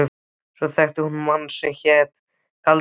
Og svo þekkti hún mann sem hét Galdra-Loftur.